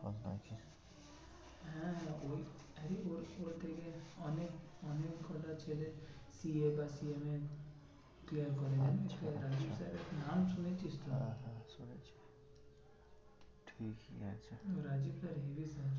Rajib sir heavy পড়ায়